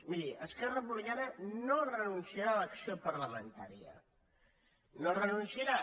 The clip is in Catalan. miri es·querra republicana no renunciarà a l’acció parlamen·tària no hi renunciarà